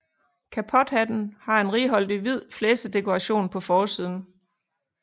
Kapothatten har en righoldig hvid flæsedekoration på forsiden